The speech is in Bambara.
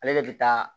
Ale de bɛ taa